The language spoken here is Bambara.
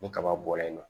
Ni kaba bɔra yen nɔ